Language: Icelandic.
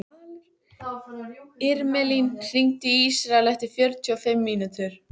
Irmelín, hringdu í Ísrael eftir fjörutíu og fimm mínútur.